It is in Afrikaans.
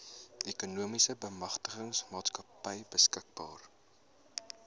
ekonomiese bemagtigingsmaatskappy beskikbaar